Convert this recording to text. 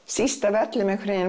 síst af öllu